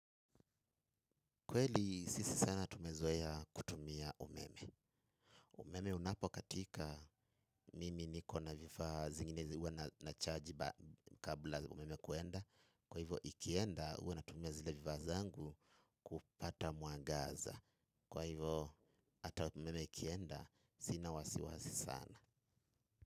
Kweli sisi sana tumezoea kutumia umeme. Umeme unapokatika mimi niko na vifaa zingine huwa nachaji kabla umeme kwenda. Kwa hivyo, ikienda huwa natumia zile vifaa zangu kupata mwangaza. Kwa hivyo, hata umeme ikienda sina wasiwasi sana.